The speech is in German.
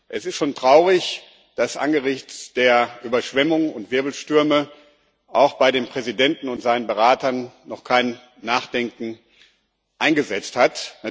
Es ist schon traurig, dass angesichts der Überschwemmungen und Wirbelstürme bei dem Präsidenten und seinen Beratern noch kein Nachdenken eingesetzt hat.